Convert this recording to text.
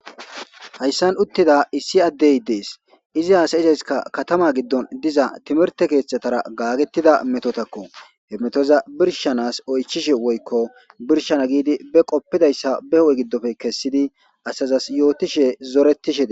hayssan uttida issi addey dees izi haasayizayskka katama giddon diza timerte keeththatara gaagettida metotakko he metoza birshanas oychishe woykko birshana giidi be qoppidayssa be ho7e giddofe kessidi asazas yootishe zoretishede